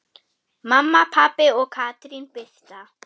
Mamma, pabbi og Katrín Birta.